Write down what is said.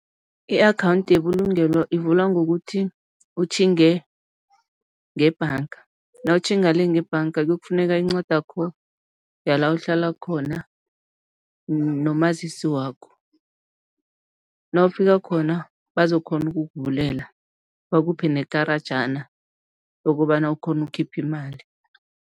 I-akhawundi yebulungelo ivulwa ngokuthi utjhinge ngebhanga. Nawutjhinga le ngebhanga kuyokufuneka incwadakho yala uhlala khona nomazisi wakho. Nawufika khona, bazokukghona ukukuvulela bakuphe nekarajana lokobana ukghone ukukhipha imali.